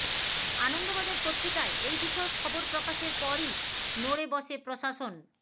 আনন্দবাজার পত্রিকায় এই বিষয়ক খবর প্রকাশের পরই নড়ে বসে প্রশাসন